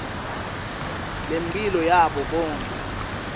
lemphilo yabo bonkhe